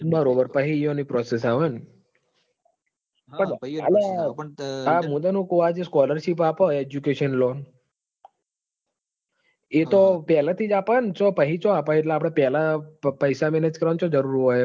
બરોબર પાહી ઇવોની process આવન અ લાયા મુત હું ક scholarship આપન educational loan એ તો પેલાથી જ આપન પાહી ચોઆપ હ પેલા પઇસા મોકલ વાની છો જરૂર હોય હે